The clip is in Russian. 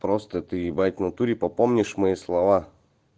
просто ты ебать внатуре по помнишь мои слова